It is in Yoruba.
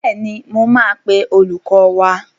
Bẹ́ẹ̀ni, mo máa pe olùkọ́ wá.